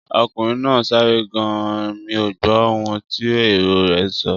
Ọkùnrin náà sáré gan-an, mí ò gbó ohun tí èrò rè ń sọ